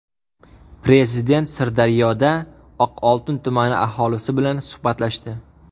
Prezident Sirdaryoda Oqoltin tumani aholisi bilan suhbatlashdi.